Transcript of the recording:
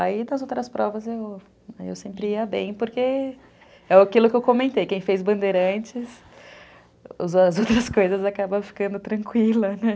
Aí das outras provas eu sempre ia bem, porque é aquilo que eu comentei, quem fez bandeira antes, as outras coisas acabam ficando tranquilas.